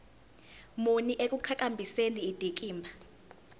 muni ekuqhakambiseni indikimba